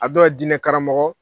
A dɔw diinɛ karamɔgɔ!